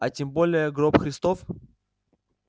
а тем более гроб христов